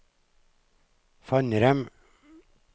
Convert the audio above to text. Fannrem